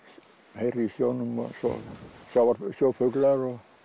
heyrir í sjónum og svo eru sjófuglar